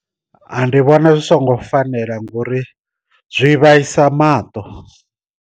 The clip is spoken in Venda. Ndi vhona zwi songo fanela ngori zwi vhaisa maṱo.